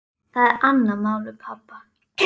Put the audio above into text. Það er annað mál með pabba.